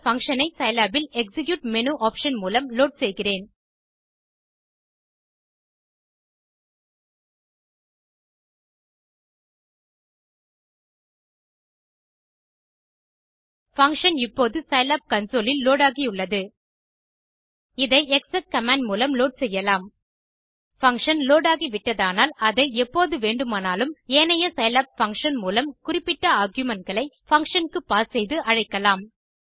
இந்த பங்ஷன் ஐ சிலாப் இல் எக்ஸிக்யூட் மேனு ஆப்ஷன் மூலம் லோட் செய்கிறேன் பங்ஷன் இப்போது சிலாப் கன்சோல் இல் லோட் ஆகியுள்ளது இதை எக்ஸெக் கமாண்ட் மூலமும் லோட் செய்யலாம் பங்ஷன் லோட் ஆகிவிட்டதானால் அதை எப்போது வேண்டுமானாலும் ஏனைய சிலாப் பங்ஷன் போல குறிப்பிட்ட argumentகளை பங்ஷன் க்கு பாஸ் செய்து அழைக்கலாம்